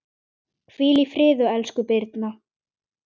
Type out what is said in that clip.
Hvíl í friði, elsku Birna.